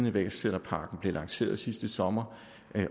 iværksætterpakken blev lanceret sidste sommer